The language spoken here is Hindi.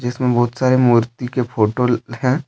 जिसमे बहोत सारे मूर्ति के फोटो है।